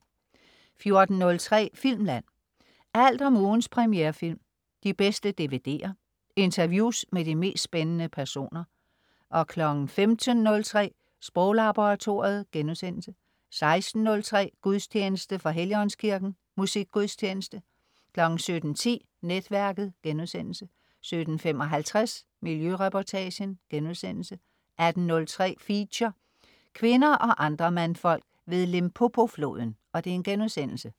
14.03 Filmland. Alt om ugens premierefilm, de bedste DVD'er, interviews med de mest spændende personer 15.03 Sproglaboratoriet* 16.03 Gudstjeneste. fra Helligåndskirken. Musik gudstjeneste 17.10 Netværket* 17.55 Miljøreportagen* 18.03 Feature: Kvinder og andre mandfolk ved Limpopo-floden*